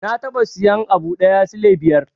Na taɓa sayan abu da sule biyar.